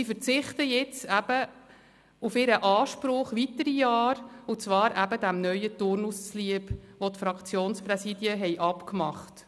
Sie verzichten jetzt eben weitere Jahre auf ihren Anspruch, und zwar dem neuen Turnus zuliebe, den die Fraktionspräsidien miteinander vereinbart hatten.